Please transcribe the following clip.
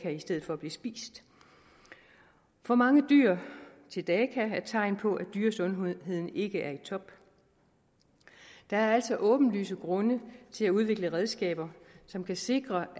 i stedet for at blive spist for mange dyr til daka er tegn på at dyresundheden ikke er i top der er altså åbenlyse grunde til at udvikle redskaber som kan sikre